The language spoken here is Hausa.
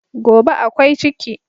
Gobe ​​akwai ciki